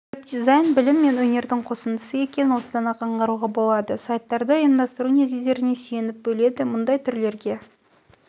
веб-дизайн білім мен өнердің қосындысы екенін осыдан-ақ аңғаруға болады сайттарды ұйымдастыру негіздеріне сүйеніп бөледі мұндай түрлерге